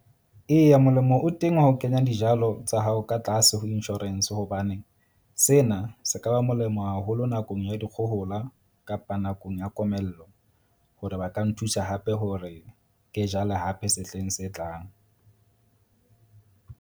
Eya, molemo o teng wa ho kenya dijalo tsa hao ka tlase ho insurance. Hobane sena se ka ba molemo haholo nakong ya dikgohola kapa nakong ya komello. Hore ba ka nthusa hape hore ke jale hape sehleng se tlang.